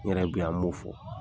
N yɛrɛ bɛ yan m'o fɔ